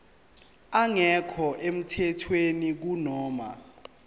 engekho emthethweni kunoma